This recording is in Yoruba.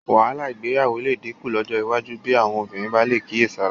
Wàhálà ìgbéyàwó lè dínkù lọ́jọ́ iwájú bí àwọn obìnrin bá lè kíyèsára